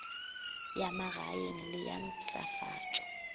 ya magaeng le ya mpshafatšo